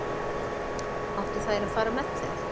Áttu þær að fara með þeim?